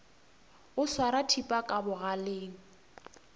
o swara thipa ka bogaleng